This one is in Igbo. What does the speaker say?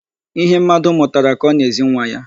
Ihe mmadụ mụtara ka ọ na-ezi nwa ya.